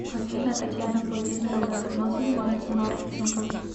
афина татьяна владимировна давно занимается маркетингом